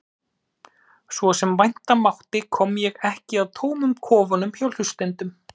Svo sem vænta mátti kom ég ekki að tómum kofunum hjá hlustendum.